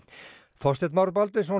Þorsteinn Már Baldvinsson